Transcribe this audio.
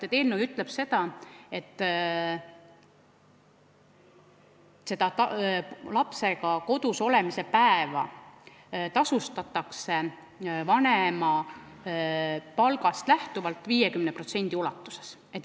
Eelnõu ütleb, et lapsega kodus olemise päeva eest tasutakse vanemapalgast lähtuvalt 50% ulatuses.